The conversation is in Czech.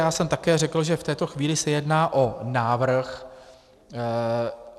Já jsem také řekl, že v této chvíli se jedná o návrh.